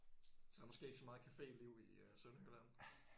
Der er måske ikke så meget caféliv i øh Sønderjylland?